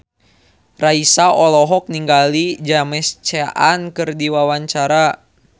Raisa olohok ningali James Caan keur diwawancara